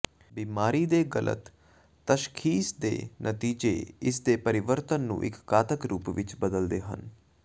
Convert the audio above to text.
ਬੀਮਾਰੀ ਦੇ ਗਲਤ ਤਸ਼ਖੀਸ ਦੇ ਨਤੀਜੇ ਇਸਦੇ ਪਰਿਵਰਤਨ ਨੂੰ ਇੱਕ ਘਾਤਕ ਰੂਪ ਵਿੱਚ ਬਦਲਦੇ ਹਨ